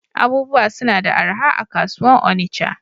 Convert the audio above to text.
Abubuwa suna da araha a'kasuwan Onitsha.